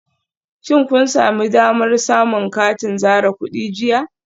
Shin kun sami damar samun katin zare kudi jiya?